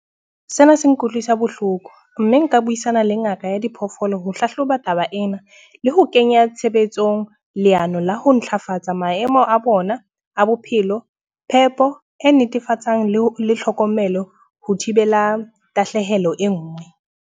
Sena se nkutlwisa bohloko. Mme nka buisana le ngaka ya diphoofolo ho hlahloba taba ena, le ho kenya tshebetsong leano la ho ntlafatsa maemo a bona a bophelo, phepo e netefatsang le le tlhokomelo ho thibela tahlehelo e nngwe.